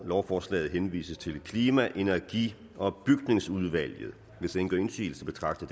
lovforslaget henvises til klima energi og bygningsudvalget hvis ingen gør indsigelse betragter